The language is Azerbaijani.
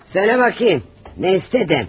Söylə baxım, nə istədin?